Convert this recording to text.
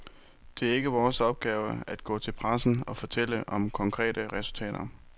Det er ikke vores opgave at gå til pressen og fortælle om konkrete resultater.